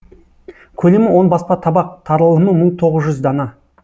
көлемі он баспа табақ таралымы мың тоғыз жүз дана